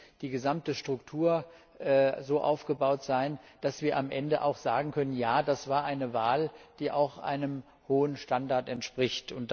Da muss die gesamte Struktur so aufgebaut sein, dass wir am Ende auch sagen können, ja, das war eine Wahl, die auch einem hohen Standard entspricht.